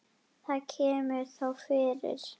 Það kemur þó fyrir.